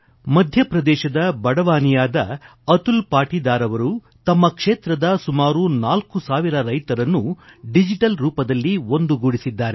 ಮಧ್ಯಪ್ರದೇಶದ ಬಡವಾಸಿಯದ ಅತುಲ್ ಪಾಟೀದಾರ್ ಅವರು ತಮ್ಮ ಕ್ಷೇತ್ರದ ಸುಮಾರು ನಾಲ್ಕು ಸಾವಿರ ರೈತರನ್ನು ಡಿಜಿಟಲ್ ರೂಪದಲ್ಲಿ ಒಂದುಗೂಡಿಸಿದ್ದಾರೆ